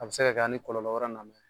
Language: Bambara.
A bɛ se ka kɛ a ni kɔlɔlɔ wɛrɛ na bɛ